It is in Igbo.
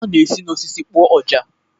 A na-esi n'osisi kpụọ ọjà.